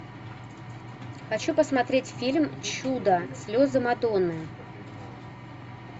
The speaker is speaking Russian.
хочу посмотреть фильм чудо слезы мадонны